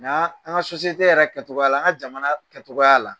Nka an ka yɛrɛ kɛcogoya la, la an ka jamana kɛcogoya la